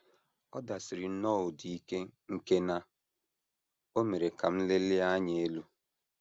Ọ dasiri nnọọ ụda ike nke na o mere ka m lelie anya elu.